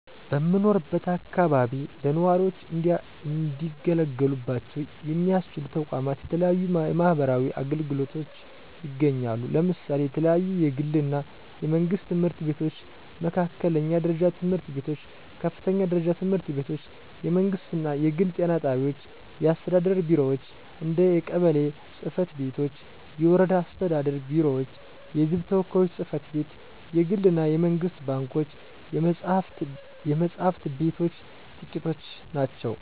በምኖርበት አከባቢ ለነዋሪዎች እንዲገለገሉባቸው ሚያስችሉ ተቋማት የተለያዩ የማህበረሰብ አገልግሎቶች ይገኛሉ። ለምሳሌ የተለያዩ የግል እና የመንግስት ትምህርት ቤቶች፣ መካከለኛ ደረጃ ትምህርት ቤቶች፣ ከፍተኛ ደረጃ ትምህርት ቤቶች፣ የመንግስት እና የግል ጤና ጣቢያዎች፣ የአስተዳደር ቢሮዎች እንደ የቀበሌ ፅ/ቤቶች፤ የወረዳ አስተዳደር ቢሮዎች፤ የህዝብ ተወካዮች ጽ/ቤት፣ የግል እና የመንግስት ባንኮች፣ የመፅሐፍት ቤቶች ጥቂቶቹ ናቸው።